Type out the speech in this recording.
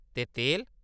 ते तेल !